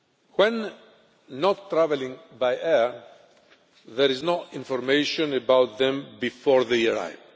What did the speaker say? When not traveling by air, there is no information about them before they arrive.